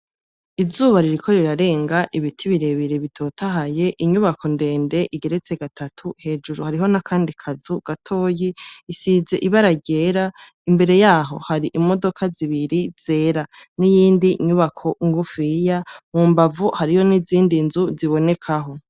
Izuba ririko rirarenga, ibiti birebire bitotahaye, inyuko ndende igeretse gatatu hejuru hariho n'akandi kazu gatoyi, isize ibara ryera, imbere yaho hari imodoka zibiri zera, n'iyindi nyubako ngufiya, mu mbavu hariho n'ibindi nzu zibonekaho.